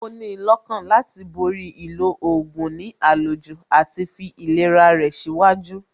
Ó ní lọ́kàna láti borí ìlò oògùn ní àlòjù àti fi ìlera rẹ̀ síwájú